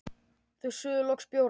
Þau suðu loks bjórana sína.